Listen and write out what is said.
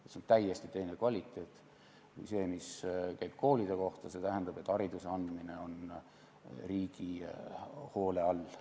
See on täiesti teine kvaliteet kui see, mis käib koolide kohta, et hariduse andmine on riigi hoole all.